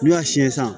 N'u y'a siyɛn san